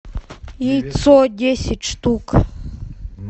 яйцо десять штук